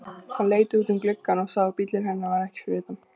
Hann leit út um gluggann og sá að bíllinn hennar var ekki fyrir utan.